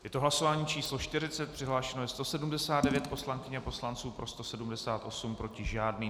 Je to hlasování číslo 40, přihlášeno je 179 poslankyň a poslanců, pro 178, proti žádný.